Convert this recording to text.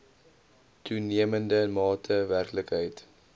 toenemende mate werklikheid